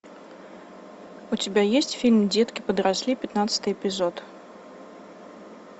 у тебя есть фильм детки подросли пятнадцатый эпизод